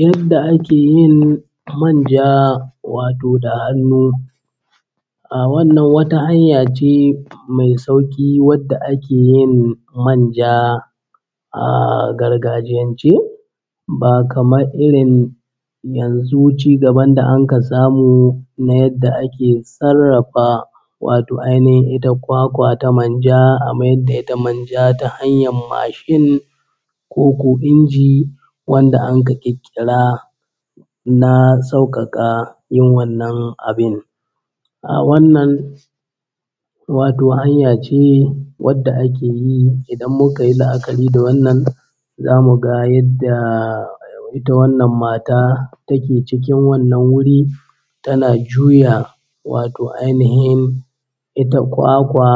Yanda ake yin manja wato da hannu. Wannan wata hanya ce mai sauƙi da wadda ake yin manja ahh gargajiyance ba kamar irin yanzu cigaban da anka samu na yadda ake sarrafa wato ainihin ita kwakwa ta manja a mayar da ita manja ta hanyar mashin koko inji wanda anka ƙirƙira na sauƙaƙa yin wannan abin. Ahh wannan wato hanya ce wadda ake yi idan muka yi la’akari da wannan, za mu ga yadda ita wannan mata ta ke cikin wannan wuri tana juya wato ainihin ita kwakwa